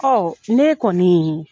ne kɔni